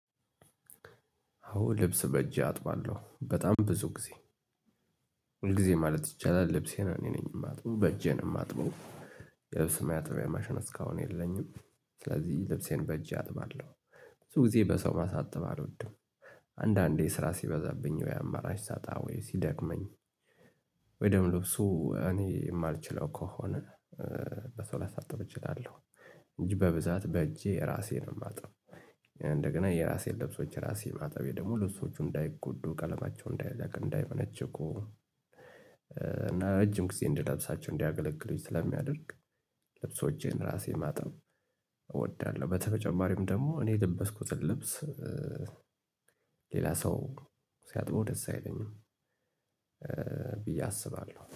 አዎ ልብስ በእጄ አጥባለሁ በጣም ብዙ ጊዜ ሁል ጊዜ ማለት ይቻላል ልብሴ እኔ ነኝ የማጥበው በእጄን የማጥበው። ማጠቢያ ማሽን እስካሁን የለኝም ስለዚህ ልብሴን በእጄ አጥባለሁ። ብዙ ጊዜ በሰው ማሳጠብ አልወድም። አንዳንዴ ስራ ሲበዛብኝ ወይ አማራጭ ሳጣ ወይ ሲደክመኝ። ወይ ደግሞ ልብሱ እኔ የማልችለው ከሆነ በሰው ላሳጥብ እችላለሁ። እንጅ በብዛት በእጄ ራሴን ነው ማጥበው። እንደገና የራሴን ልብሶች ራሴ ማጠቤ ደግሞ ለሱ እንዳይጎዱ ቀለማቸው እንዳይለቅ እንዳይመነችኩ እና ረጅም ጊዜ እንድለብሳቸው እንዲያገለግሉኝ ስለሚያደርግ። ልብሶቼን ራሴን ማጠብ እወዳለሁ። በተጨማሪም ደግሞ እኔ የለበስኩትን ልብስ ሌላ ሰው ሲያጥበው ደስ አይለኝም። ብዬ አስባለሁ